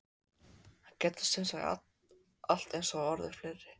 Það gætu semsagt allt eins orðið fleiri?